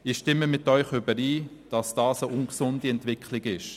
Ich stimme mit Ihnen überein, dass dies eine ungesunde Entwicklung ist.